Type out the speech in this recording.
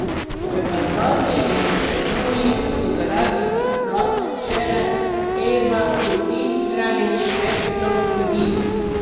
V Albaniji in Makedoniji so zaradi poplav včeraj evakuirali več sto ljudi.